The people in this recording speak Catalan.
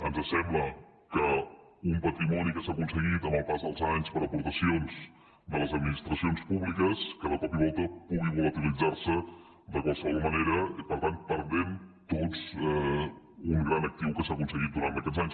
ens sembla que un patrimoni que s’ha aconseguit amb el pas dels anys per aportacions de les administracions públiques que de cop i volta pugui volatilitzar se de qualsevol manera per tant perdent tots un gran actiu que s’ha aconseguit durant aquests anys